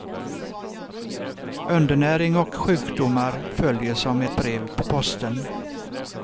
Undernäring och sjukdomar följer som ett brev på posten.